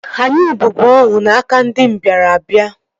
Anyị bụbu ohu n'aka ndị mbịarambịa